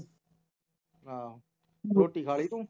ਹਾਂ ਰੋਟੀ ਖਾ ਲਈ ਤੂੰ